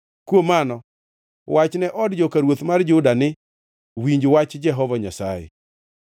“Kuom mano, wachne od joka ruoth mar od Juda ni, ‘Winj wach Jehova Nyasaye;